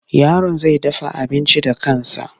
Yaron zai dafa abinci da kansa.